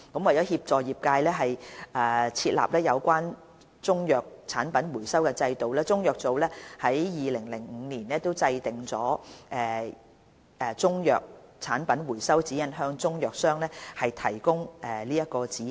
為協助業界設立有關的中藥產品回收制度，中藥組於2005年已制訂《中藥產品回收指引》，向中藥商提供指引。